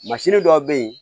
Mansini dɔw bɛ yen